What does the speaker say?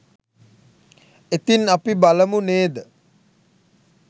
ඉතින් අපි බලමු නේද